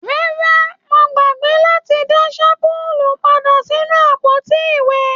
Rárá, Mo gbàgbé láti dá shampulu pàdà sínú àpótí iwẹ.